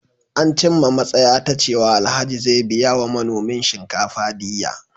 An cimma matsaya ta cewa Alhaji zai biya wa manomin shinkafa diyya.